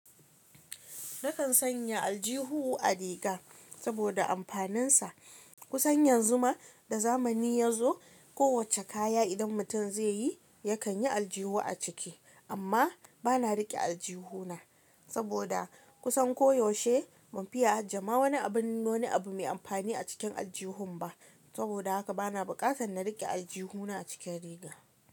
Nakan sanya aljihun a riga saboda amfaninsa kusan yanzu ma da zamani ya zo. Kowacce kaya idan mutum zai yi, yakan yi aljihu a ciki, amma bana riƙe aljihuna saboda kusan koyaushe ban fiya aje ma wani abun, wani abu mai amfani a cikin aljihun ba. Saboda haka bana buƙatar na riƙe aljihuna a cikin riga.